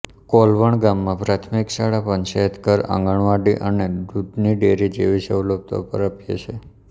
કોલવણ ગામમાં પ્રાથમિક શાળા પંચાયતઘર આંગણવાડી અને દૂધની ડેરી જેવી સવલતો પ્રાપ્ય છે